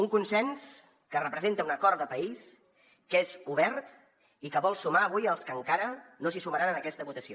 un consens que representa un acord de país que és obert i que vol sumar avui els que encara no s’hi sumaran en aquesta votació